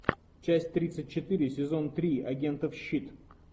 часть тридцать четыре сезон три агентов щит